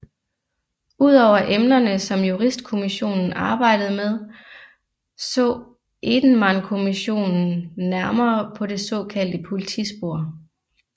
Udover emnerne som Juristkommissionen arbejdede med så Edenmankommissionen nærmere på det såkaldte politispor